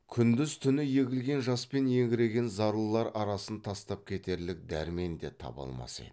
күндіз түні егілген жаспен еңіреген зарлылар арасын тастап кетерлік дәрмен де таба алмас еді